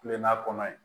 Kulon na kɔnɔ ye